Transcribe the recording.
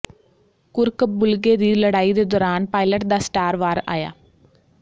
ਕੁੱਰਕ ਬੁਲਗੇ ਦੀ ਲੜਾਈ ਦੇ ਦੌਰਾਨ ਪਾਇਲਟ ਦਾ ਸਟਾਰ ਵਾਰ ਆਇਆ